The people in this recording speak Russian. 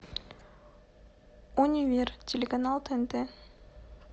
универ телеканал тнт